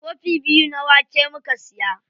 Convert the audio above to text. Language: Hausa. Kofi biyu na wake muka siya.